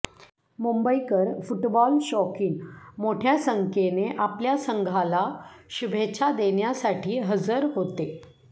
मुंबईकर football शौकीन मोठय़ा संख्येने आपल्या संघाला शुभेच्छा देण्यासाठी हजर होते